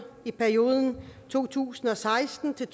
i perioden to tusind og seksten til